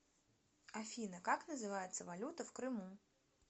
афина как называется валюта в крыму